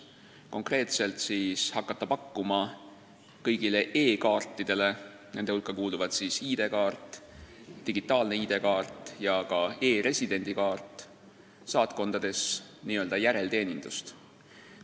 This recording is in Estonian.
Konkreetselt soovime hakata pakkuma saatkondades kõigi e-kaartide – nende hulka kuuluvad ID-kaart, digitaalne ID-kaart ja ka e-residendi kaart – n-ö järelteenindust.